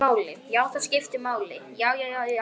Já, skiptir það máli?